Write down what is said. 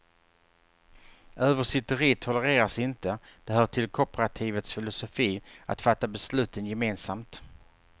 Översitteri tolereras inte, det hör till kooperativets filosofi att fatta besluten gemensamt.